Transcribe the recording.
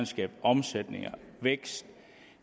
skabe omsætning og vækst at